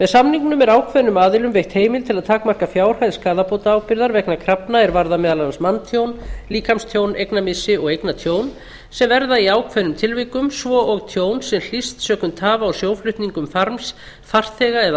samningnum er ákveðnum aðilum veitt heimild til að takmarka fjárhæð skaðabótaábyrgðar vegna krafna er varða meðal annars manntjón líkamstjón eignamissi og eignatjón sem verða í ákveðnum tilvikum svo og tjón sem hlýst sökum tafa á sjóflutningum farms farþega eða